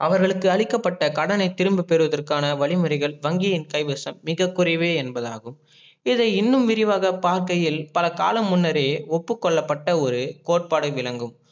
அவர்களுக்கு அளிக்கப்பட்ட கடனை திரும்ப பெருவதர்கானா வழிமுறைகள் வங்கியின் கைவசம் மிக குறைவே என்பதாகும். இது இன்னும் விரிவாக பார்க்கையில் பல காலம் முன்னரே ஒப்புகொள்ளப்பட்ட ஒரு கோட்பாடு விளங்கும்